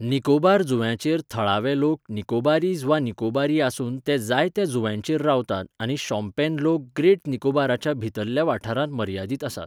निकोबार जुंव्यांचेर थळावे लोक निकोबारीज वा निकोबारी आसून ते जायत्या जुंव्यांचेर रावतात आनी शोम्पेन लोक ग्रेट निकोबाराच्या भितरल्या वाठारांत मर्यादीत आसात.